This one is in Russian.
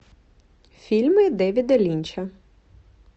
фильмы дэвида линча